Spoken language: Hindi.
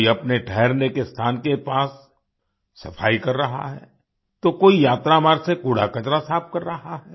कोई अपने ठहरने के स्थान के पास सफाई कर रहा है तो कोई यात्रा मार्ग से कूड़ाकचरा साफ कर रहा है